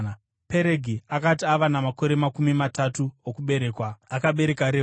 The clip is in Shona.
Peregi akati ava namakore makumi matatu, okuberekwa akabereka Reu.